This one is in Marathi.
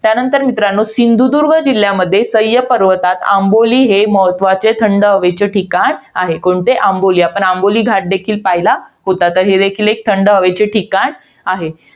त्यानंतर मित्रांनो, सिंधुदुर्ग जिल्ह्यामध्ये, सह्य पर्वतात आंबोली हे महत्वाचे, थंड हवेचे ठिकाण आहे. कोणते? आंबोली. आपण आंबोली घाट देखील पाहिला होता. तर हे देखील एक थंड हवेचे ठिकाण आहे.